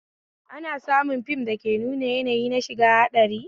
Ana samu fim dake nuna yanayi na shiga haɗari